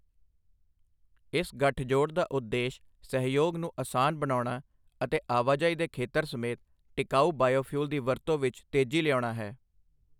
ਇਸ ਗਠਜੋੜ ਦਾ ਉਦੇਸ਼ ਸਹਿਯੋਗ ਨੂੰ ਅਸਾਨ ਬਣਾਉਣਾ ਅਤੇ ਆਵਾਜਾਈ ਦੇ ਖੇਤਰ ਸਮੇਤ ਟਿਕਾਊ ਬਾਇਓਫਿਊਲ ਦੀ ਵਰਤੋ ਵਿੱਚ ਤੇਜ਼ੀ ਲਿਆਉਣਾ ਹੈ।